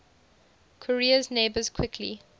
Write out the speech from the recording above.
korea's neighbours quickly